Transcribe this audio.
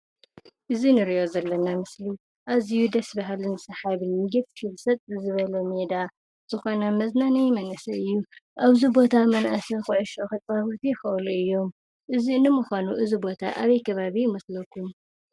እዚ ንሪኦ ዘለና ምስሊ ኣዝዩ ደስ በሃሊ ሰሓብን እዩ፡፡ ሜዳ ዝኾነ መዝናነዪ ኣብዚ ቦታ መናእሰይ ኩዕሾ ክፃወቱ ይኽእሉ እዮም፡፡ ንምዃኑ እዚ ቦታ ኣበይ ከባቢ ይመስለኩም?